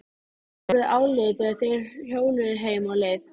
Það var orðið áliðið þegar þeir hjóluðu heim á leið.